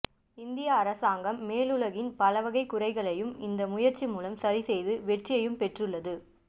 இந்திய அரசாங்கம் மேற்குலகின் பலவகை குறைகளையும் இந்த முயற்சி மூலம் சரிசெய்து வெற்றியும் பெற்றுள்ளது